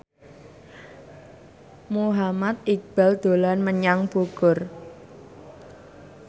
Muhammad Iqbal dolan menyang Bogor